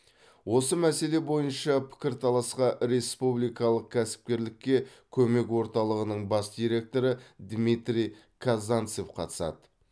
осы мәселе бойынша пікірталасқа республикалық кәсіпкерлікке көмек орталығының бас директоры дмитрий казанцев қатысады